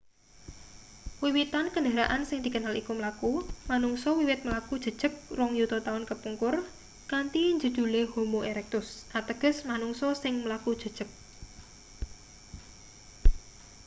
wiwitan kendharaan sing dikenal iku mlaku manungsa wiwit mlaku jejeg rong yuta taun kapungkur kanthi njedhule homo erectus ateges manungsa sing mlaku jejeg